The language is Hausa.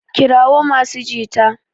kirawo masu jita!